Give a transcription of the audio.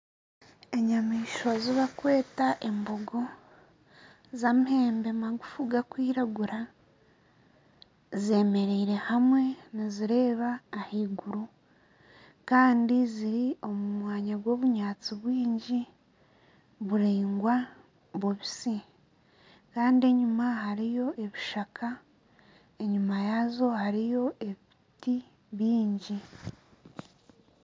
Enyamaishwa ezibakweta embogo z'amahembe maguufu gakwiragura zemereire hamwe nizireeba ahaiguru kandi ziri omu mwanya gw'obunyaatsi bwingi buraingwa bubisi kandi enyuma hariyo ebishaka enyima yaazo hariyo ebiti byingi.